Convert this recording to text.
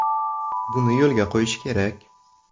Buni yo‘lga qo‘yish kerak.